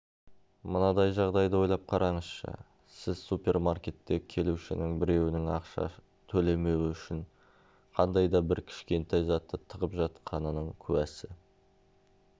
мынадай жағдайды ойлап қараңызшы сіз супермаркетте келушінің біреуінің ақша төлемеуі үшін қандайда бір кішкентай затты тығып жатқанының куәсі